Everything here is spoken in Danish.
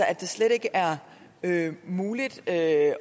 at det slet ikke er muligt at